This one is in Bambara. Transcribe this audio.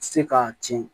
Se k'a tiɲɛ